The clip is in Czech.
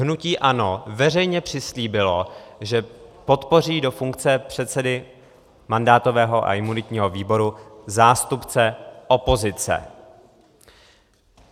Hnutí ANO veřejně přislíbilo, že podpoří do funkce předsedy mandátového a imunitního výboru zástupce opozice.